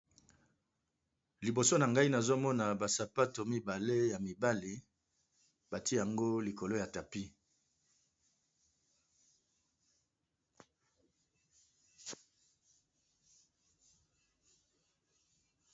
liboso na ngai nazomona basapato mibale ya mibali batie yango likolo ya tapi